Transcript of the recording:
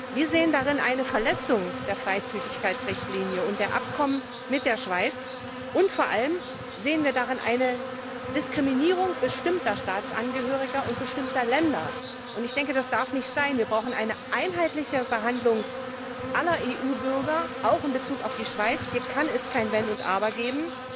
Wir sehen darin eine Verletzung der Freizügigkeitsrichtlinie und der Abkommen mit der Schweiz, und vor allem sehen wir darin eine Diskriminierung bestimmter Staatsangehöriger und bestimmter Länder. Das darf nicht sein. Wir brauchen eine einheitliche Behandlung aller EU Bürger, auch in Bezug auf die Schweiz. Hier kann es kein Wenn und Aber geben.